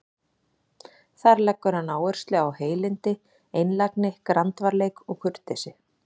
Þar leggur hann áherslu á heilindi, einlægni, grandvarleik og kurteisi.